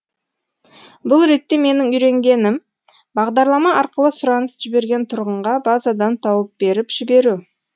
бұл ретте менің үйренгенім бағдарлама арқылы сұраныс жіберген тұрғынға базадан тауып беріп жіберу